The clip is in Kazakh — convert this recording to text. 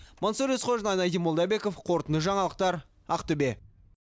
мансұр есқожин айнадин молдабеков қорытынды жаңалықтар ақтөбе